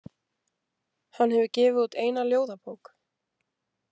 Hann hefur gefið út eina ljóðabók.